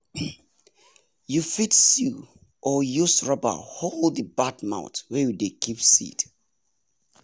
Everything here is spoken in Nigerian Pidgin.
you fit sew or use rubber hold the bad mouth wey you dey keep seed